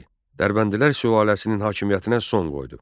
Dərbəndilər sülaləsinin hakimiyyətinə son qoydu.